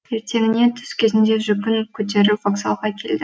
ертеңіне түс кезінде жүгін көтеріп вокзалға келді